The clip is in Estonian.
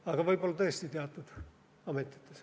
Aga võib-olla tõesti teatud ametites.